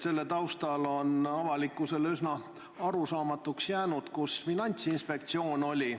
Selle taustal on avalikkusele üsna arusaamatuks jäänud, kus Finantsinspektsioon oli.